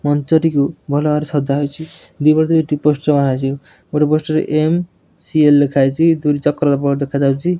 ମଞ୍ଚଟିକୁ ଭଲ ଭାବରେ ସଜା ଯାଇଚି। ପୋଷ୍ଟର ମରାହେଇଚି। ଗୋଟେ ପୋଷ୍ଟର ରେ ଏମ୍_ସି_ଏଲ ଲେଖାଯାଇଚି। ଦୁଇଟି ଚକ୍ର ଦେଖାଯାଉଚି।